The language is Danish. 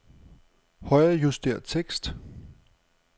Højrejuster tekst.